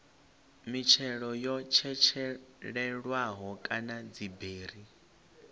mitshelo yo tshetshelelwaho kana dziberi